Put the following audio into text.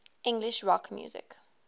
english rock music